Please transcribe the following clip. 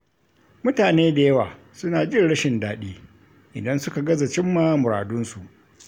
Mutane da yawa suna jin rashin daɗi, idan suka gaza cimma muradinsu.